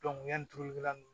yanni tulukɛla nunnu